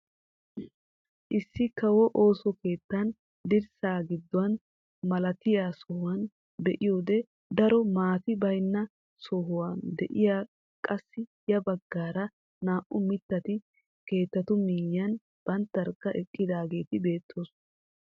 Issi kawo ooso keettaa dirssa gidduwaa malatiyaa sohuwaa be'iyoode daro maati baynna sohoy de'iyoode qassi ya baggaara naa"u mittati keettatu miyiyaan banttarkka eqqidaageti beettoosona.